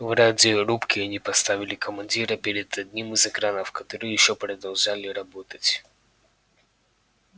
в радиорубке они поставили командира перед одним из экранов которые ещё продолжали работать